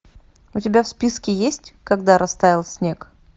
у тебя в списке есть когда растаял снег